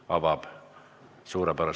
Austatud kolleegid, aitäh tänase tööpäeva eest!